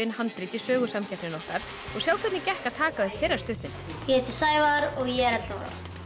handrit í Sögusamkeppnina okkar og sjá hvernig gekk að taka upp þeirra stuttmynd ég heiti Sævar og ég er ellefu ára